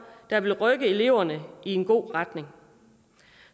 der vil rykke eleverne i en god retning